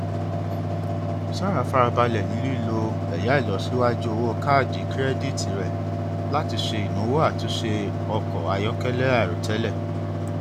sarah fara balẹ ni lilo ẹya ilosiwaju owo kaadi kirẹditi rẹ lati ṣe inawo atunṣe ọkọ ayọkẹlẹ airotẹlẹ